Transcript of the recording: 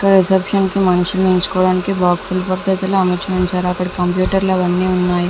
ఇక్కడ రిసెప్షన్ కి మనుషులు నేర్చుకోటానికి బాక్స్ లు ఉన్నాయి అని కంప్యూటర్స్ ఉనే అని లైట్స్ కూడా ఉన్నాయి .